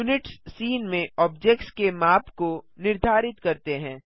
units scene में objects के माप को निर्धारित करते हैं